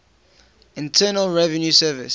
internal revenue service